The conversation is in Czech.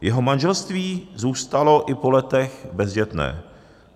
Jeho manželství zůstalo i po letech bezdětné.